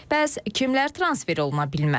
Bəs kimlər transfer oluna bilməz?